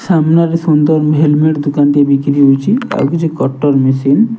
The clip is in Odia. ସାମ୍ନାରେ ସୁନ୍ଦର ହେଲମେଟ ଦୋକାନ ଟିଏ ବିକ୍ରି ହଉଚି। ଆଉ କିଛି କଟର ମେସିନ ।